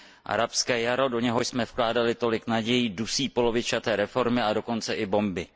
Arabské jaro, do něhož jsme vkládali tolik nadějí, dusí polovičaté reformy a dokonce i bomby.